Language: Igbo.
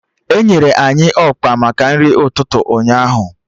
Enyere anyị ọkpa maka nri ụtụtụ ụnyaahụ